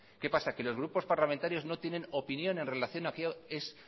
qué pasa que los grupos parlamentarios no tienen opinión en relación a